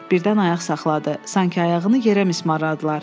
Birdən ayaq saxladı, sanki ayağını yerə mismarladılar.